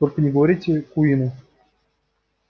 только не говорите куинну